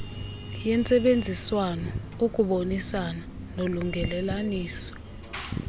yentsebenziswano ukubonisana nolungelelaniso